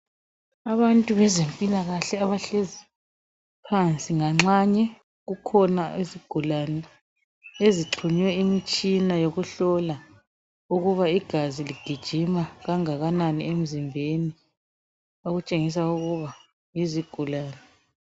Abantu bezempilakahle abahlezi phansi nganxanye kukhona izigulane ezixhunywe imitshina yokuhlola ukuba igazi ligijima kangakanani emzimbeni okutshengisa ukuba yizigulane